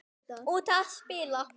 Út að spila.